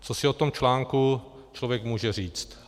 - Co si o tom článku člověk může říct?